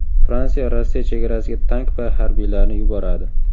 Fransiya Rossiya chegarasiga tank va harbiylarni yuboradi.